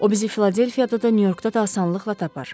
O bizi Filadelfiyada da, Nyu-Yorkda da asanlıqla tapar.